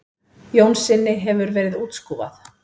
Jónssyni hefði verið útskúfað.